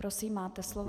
Prosím, máte slovo.